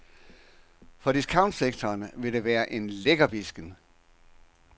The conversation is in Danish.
For discountsektoren vil det være en lækkerbidsken.